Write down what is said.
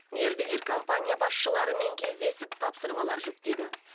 мердігер компания басшыларымен кездесіп тапсырмалар жүктеді